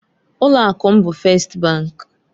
Ụlọ akụ m bụ Fest bank.